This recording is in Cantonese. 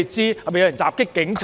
是否有人襲擊警察？